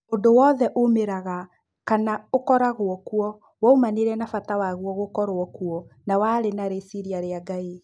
ũndũowothe umĩraga kama ũkoraguo kuo waumanire na fata waguo gũkorwo kuo na warĩ na rĩcirĩa rĩa Ngai.